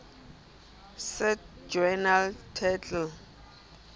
cite journal title